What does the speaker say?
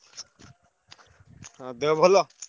ହଁ ଦେହ ଭଲ?